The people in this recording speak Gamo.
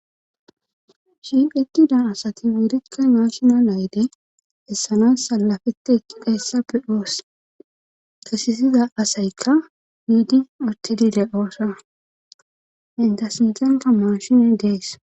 Shihetida asati wurikka naashina nayde hessanas salafete eki qeessappe oos kisisiza asaykka hiidi ottedile oosa entasinxenka maashine dees